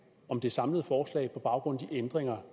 om det samlede forslag på baggrund af de ændringer